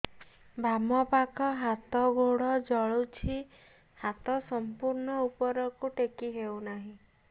ବାମପାଖ ହାତ ଗୋଡ଼ ଜଳୁଛି ହାତ ସଂପୂର୍ଣ୍ଣ ଉପରକୁ ଟେକି ହେଉନାହିଁ